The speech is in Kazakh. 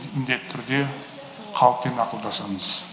міндетті түрде халықпен ақылдасамыз